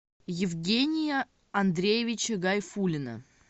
евгения андреевича гайфуллина